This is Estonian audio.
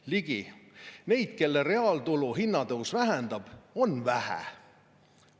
" Ligi: "Neid, kelle reaaltulu hinna tõus vähendab, on vähe.